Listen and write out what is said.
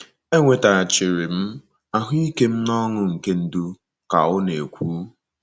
“ Enwetaghachiri m ahụ́ ike m na ọṅụ nke ndụ, ” ka ọ na - ekwu.